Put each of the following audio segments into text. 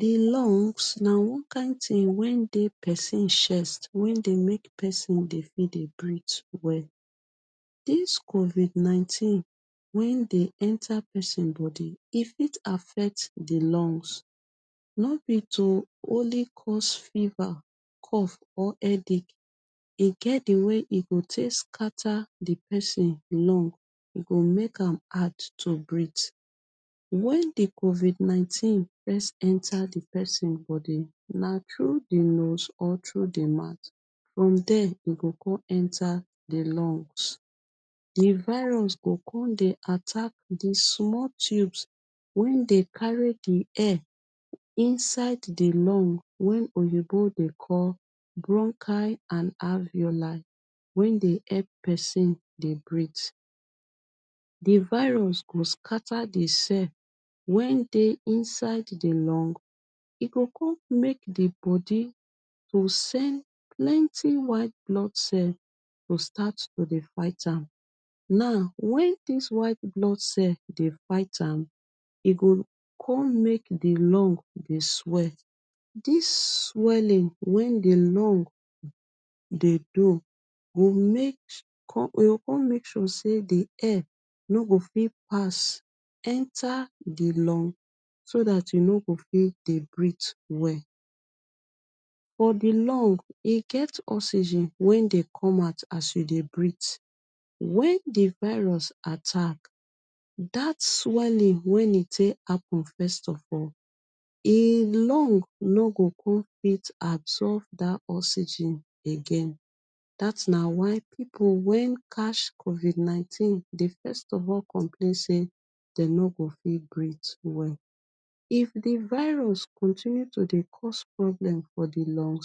The lungs na one kin thing wey dey pesin chest wey dey make pesin dey fit dey breathe well. Dis COVID-19, when de enter pesin body, e fit affect the lungs. No be to only cause fever, cough or headache. E get the way e go take scatter the pesin lung. E go make am hard to breathe. When the COVID-19 first enter the pesin body, na through the nose or through the mouth. From there, e go go enter e lungs. The virus go con dey attack the small tubes wey dey carry the air inside the lungs — wey oyinbo dey call bronchi and alveoli — wey dey help pesin dey breathe. The virus go scatter the cell wey dey inside the lungs. E go make the body to send plenty white blood cell to start to dey fight am. Now, when dis white blood cell dey fight am, e go con make the lung dey swell. Dis swelling wey the lung dey do, e go mek e go con make sure say the air no go fit pass enter the lung so dat you no go fit dey breathe well. For the lung, e get oxygen wey dey gome out as you dey breathe. When the virus attack, dat swelling when e take happen first of all, the lung no go come fit absorb dat oxygen again. Dat na why pipu wey catch COVID-19 dey first of all complain say dey no go fit breathe well. If the virus continue to dey cause problem for the lung,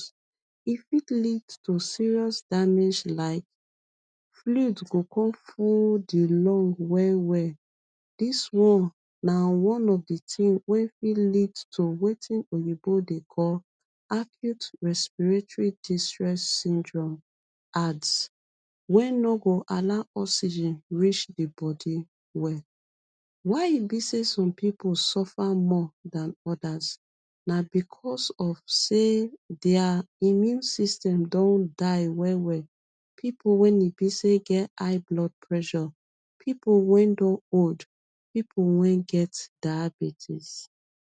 e fit lead to serious damage like, fluid go con full the lung well well. Dis one na one of the things wey fit lead to wetin oyinbo dey call Acute Respiratory Distress Syndrome (ARDS) wey no go allow oxygen reach the body well. Why e be say some pipu suffer more than others? Na because of say their immune system don die well well. Pipu wey e be say get high blood pressure, pipu wey don old, pipu wey get diabetes.